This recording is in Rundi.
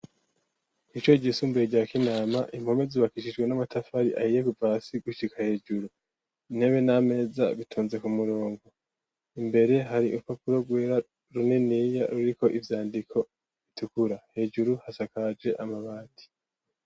Ishure ryisumbuye rya kinama ,impome zubakishijwe n'amatafari ahiye kuva hasi gushika hejuru , intebe n'ameza bitonze ku murongo ,imbere hari urupapuro rwera runiniya ruriko ivyandiko bitukura hejuru hasakaje amabati.